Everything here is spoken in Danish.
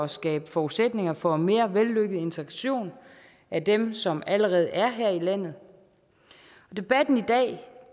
skabe forudsætninger for en mere vellykket integration af dem som allerede er her i landet debatten i dag